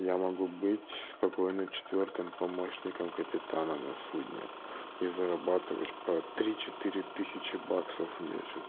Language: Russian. я могу быть спокойно четвёртым помощником капитана на судне и зарабатывать по три четыре тысячи баксов в месяц